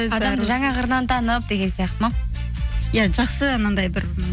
жаңа қырынан танып деген сияқты ма иә жақсы анандай бір